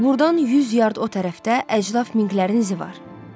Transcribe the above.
Burdan yüz yard o tərəfdə əcdad minqlərinin izi var.